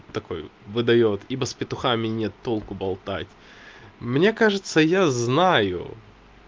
такой выдаёт ибо с петухами нет толку болтать мне кажется я знаю